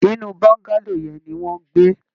Inú Bọ́ńgálò yẹn ni wọn ń gbé